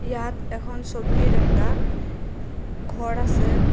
এহন সবির একটা ঘর আসে।